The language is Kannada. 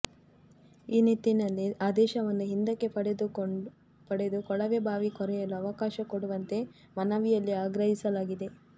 ಈ ನಿಟಿನಲ್ಲಿ ಆದೇಶವನ್ನು ಹಿಂದಕ್ಕೆ ಪಡೆದು ಕೊಳವೆ ಬಾವಿ ಕೊರೆಯಲು ಅವಕಾಶ ಕೊಡುವಂತೆ ಮನವಿಯಲ್ಲಿ ಆಗ್ರಹಿಸಲಾಗಿದೆ